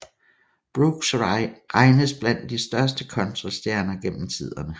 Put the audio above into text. Brooks regnes blandt de største countrystjerner gennem tiderne